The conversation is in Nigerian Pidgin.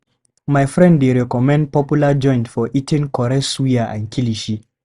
My friend dey recommend popular joint for eating correct suya and kilishi.